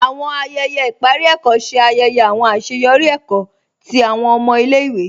Àwọn ayẹyẹ iparí èkó ṣè ayẹyẹ àwọn aṣeyọri èkó tí àwọn ọmọ ilẹ̀-ìwé.